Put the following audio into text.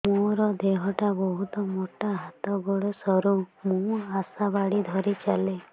ମୋର ଦେହ ଟା ବହୁତ ମୋଟା ହାତ ଗୋଡ଼ ସରୁ ମୁ ଆଶା ବାଡ଼ି ଧରି ଚାଲେ